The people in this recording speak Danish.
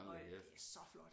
Og øh det er så flot